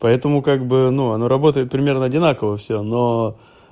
поэтому как бы ну она работает примерно одинаково всё но